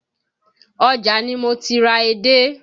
Ọjà ni mo ti ra edé